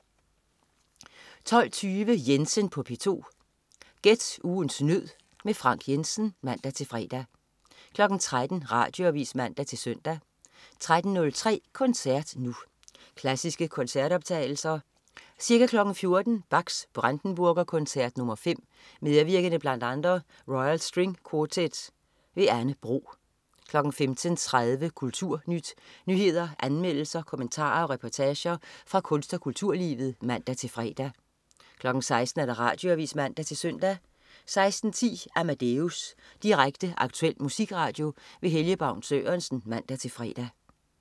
12.20 Jensen på P2. Gæt ugens nød. Frank Jensen (man-fre) 13.00 Radioavis (man-søn) 13.03 Koncert Nu. Klassiske koncertoptagelser. Ca. 14.00 Bachs Brandenburg Koncert nr. 5. Medvirkende bl.a. Royal String Quartet. Anne Bro 15.30 Kulturnyt. nyheder, anmeldelser, kommentarer og reportager fra kunst- og kulturlivet (man-fre) 16.00 Radioavis (man-søn) 16.10 Amadeus. Direkte, aktuel musikradio. Helge Baun Sørensen. (man-fre)